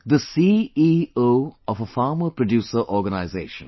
the CEO of a farmer producer organization